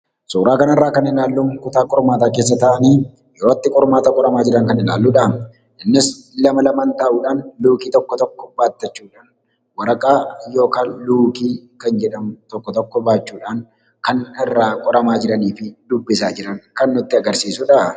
Suuraa kanarraa kan ilaallu mana keessa taa'anii qormaata itti qoraman kan ilaalludha. Innis lama lamaan kan luukii tokko tokkotti jechuudha. Luukii tokko tokko baachuudhaan kan irraa fayyadamanidha.